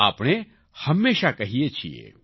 આપણે હંમેશા કહીએ છીએ